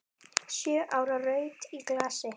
Sjö ára rautt í glasi.